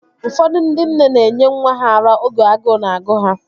Ụfọdụ ndị nne na enye nwa ha ara oge agụụ na-agụ ha